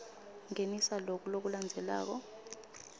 ngenisa loku lokulandzelako